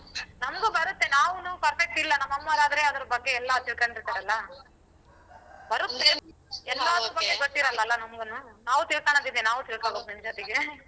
ನಮ್ಗು ಬರತ್ತೆ ನಾವೂನು perfect ಇಲ್ಲ ನಮ್ ಅಮ್ಮೋರ್ ಆದ್ರೆ ಅದ್ರ್ ಬಗ್ಗೆ ಎಲ್ಲಾ ತಿಳ್ಕಂಡಿರ್ತಾರಲ್ಲ. ಬರತ್ತೆ ನಮ್ಗೂನು. ನಾವು ತಿಳ್ಕಣದಿದೆ ನಾವು ತಿಳ್ಕೋಬೇಕು ನಿಮ್ ಜೊತೆಗೆ.